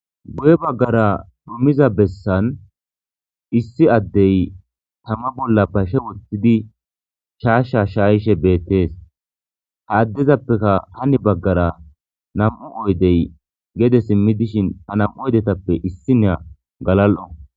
Guye baggara dumiza bessan issi addey tama bolla pashe wottidi shaashsha shaayishe beettees ha addezappeka hani baggara nam'u oydey gede simmi dishin a nam'u oydetappe issi nea galal'o.